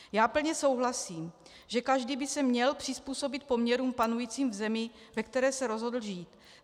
Já plně souhlasím, že každý by se měl přizpůsobit poměrům panujícím v zemi, ve které se rozhodl žít.